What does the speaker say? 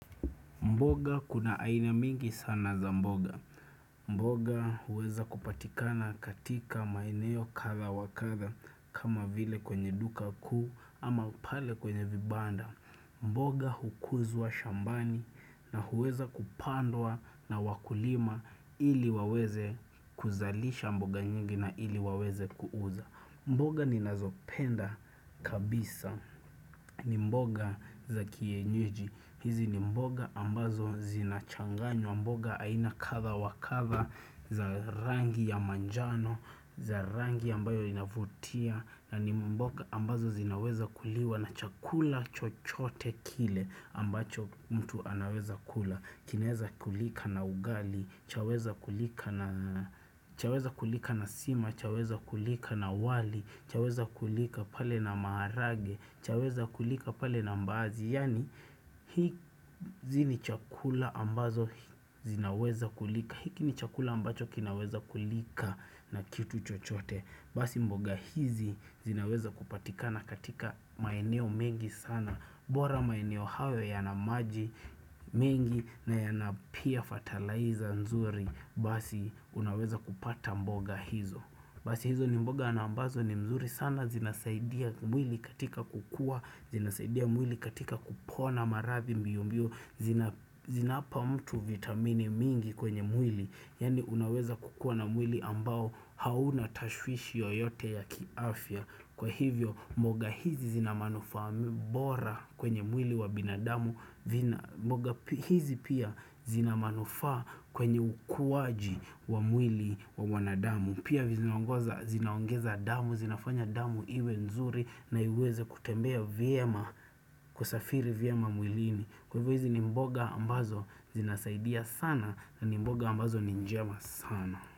Mboga kuna aina nyingi sana za mboga. Mboga huweza kupatikana katika maeneo kadha wa kadha kama vile kwenye duka kuu ama pale kwenye vibanda. Mboga huuzwa shambani na huweza kupandwa na wakulima ili waweze kuzalisha mboga nyingi na ili waweze kuuza. Mboga ninazopenda kabisa ni mboga za kienyeji. Hizi ni mboga ambazo zinamchanganyo, mboga aina kadha wa kadha za rangi ya manjano, za rangi ambayo inavutia na ni mboga ambazo zinaweza kuliwa na chakula chochote kile ambacho mtu anaweza kula Kiweza kulika na ugali, chaweza kulika na sima, chaweza kulika na wali, chaweza kulika pale na maharage, chaweza kulika pale na mbaazi Yani hivi ni vyakula ambazo zinaweza kulika hiki ni chakula ambacho kinaweza kulika na kitu chochote Basi mboga hizi zinaweza kupatikana katika maeneo mengi sana bora maeneo hayo yana maji mengi nayana pia fetilaiza nzuri Basi unaweza kupata mboga hizo Basi hizo ni mboga ambazo ni nzuri sana zinasaidia mwili katika kukua zinasaidia mwili katika kupona maradhi mbiombio Zinampa mtu vitamini nyingi kwenye mwili Yani unaweza kukua na mwili ambao hauna tashwishi yoyote ya kiafya Kwa hivyo mboga hizi zinamanufaa bora kwenye mwili wa binadamu mboga hizi pia zinamanufa kwenye ukuaji wa mwili wa mwanadamu Pia vizinaongeza damu, zinafanya damu iwe nzuri na iweze kutembea vyema kusafiri vyema mwilini Kwa hivyo hizi ni mboga ambazo zinasaidia sana na ni mboga ambazo ni njema sana.